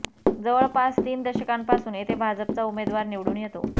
जवळपास तीन दशकांपासून येथे भाजपचा उमेदवार निवडूण येतो